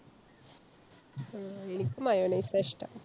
എനിക്ക് mayonnaise ആ ഇഷ്ടം.